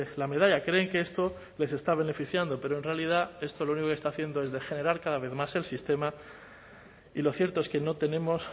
la medalla creen que esto les está beneficiando pero en realidad esto lo único que está haciendo es degenerar cada vez más el sistema y lo cierto es que no tenemos